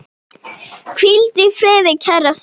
Hvíldu í friði, kæra systir.